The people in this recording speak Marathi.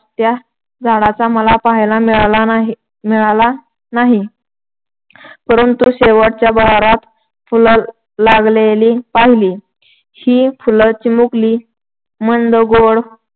त्या झाडाचा मला पाहायला मिळाला नाही मिळाला नाही, परंतु शेवटच्या बहरात फुलं लागलेली पाहिली. ही फुलं चिमुकली, मंद गोड